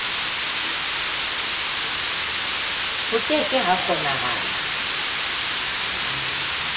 ho ke ke ha kgonahala